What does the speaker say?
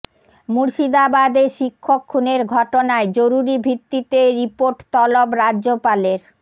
মুর্শিদাবাদে শিক্ষক খুনের ঘটনায় জরুরি ভিত্তিতে রিপাের্ট তলব রাজ্যপালের